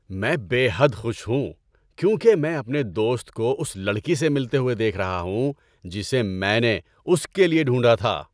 میں بے حد خوش ہوں کیونکہ میں اپنے دوست کو اس لڑکی سے ملتے ہوئے دیکھ رہا ہوں جسے میں نے اس کے لیے ڈھونڈھا تھا۔